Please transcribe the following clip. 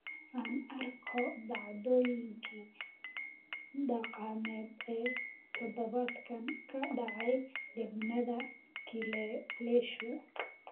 aan arko dhacdooyinkii dhaqameed ee todobaadkan ka dhacay deegaanada kileleshu